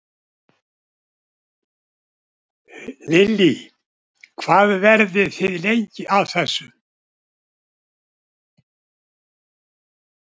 Lillý: Hvað verðið þið lengi að þessu?